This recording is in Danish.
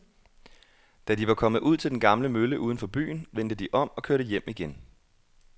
Da de var kommet ud til den gamle mølle uden for byen, vendte de om og kørte hjem igen.